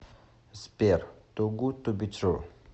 сбер тугудтубитру